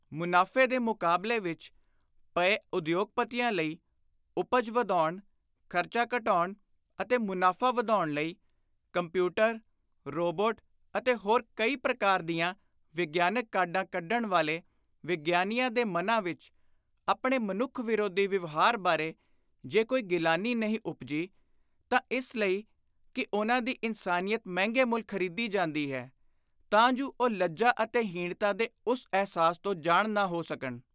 ਮੁਨਾਫ਼ੇ ਦੇ ਮੁਕਾਬਲੇ ਵਿਚ ਪਏ ਉਦਯੋਗਪਤੀਆਂ ਲਈ ਉਪਜ ਵਧਾਉਣ, ਖ਼ਰਚਾ ਘਟਾਉਣ ਅਤੇ ਮੁਨਾਫ਼ਾ ਵਧਾਉਣ ਲਈ ਕੰਪਿਉਟਰ, ਰੋਬੋਟ ਅਤੇ ਹੋਰ ਕਈ ਪ੍ਰਕਾਰ ਦੀਆਂ ਵਿਗਿਆਨਕ ਕਾਢਾਂ ਕੱਢਣ ਵਾਲੇ ਵਿਗਿਆਨੀਆਂ ਦੇ ਮਨਾਂ ਵਿਚ ਆਪਣੇ ਮਨੁੱਖ ਵਿਰੋਧੀ ਵਿਵਹਾਰ ਬਾਰੇ ਜੇ ਕੋਈ ਗਿਲਾਨੀ ਨਹੀਂ ਉਪਜੀ ਤਾਂ ਇਸ ਲਈ ਕਿ ਉਨ੍ਹਾਂ ਦੀ ਇਨਸਾਨੀਅਤ ਮਹਿੰਗੇ ਮੁੱਲ ਖ਼ਰੀਦੀ ਜਾਂਦੀ ਹੈ ਤਾਂ ਜੁ ਉਹ ਲੱਜਾ ਅਤੇ ਹੀਣਤਾ ਦੇ ਉਸ ਅਹਿਸਾਸ ਤੋਂ ਜਾਣ ਨਾ ਹੋ ਸਕਣ,